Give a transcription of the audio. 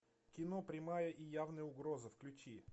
кино прямая и явная угроза включи